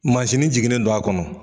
Masini jiginnen don a kɔnɔ.